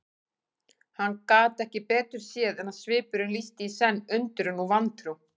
Hann gat ekki betur séð en svipurinn lýsti í senn undrun og vantrú.